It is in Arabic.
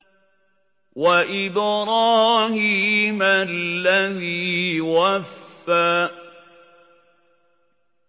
وَإِبْرَاهِيمَ الَّذِي وَفَّىٰ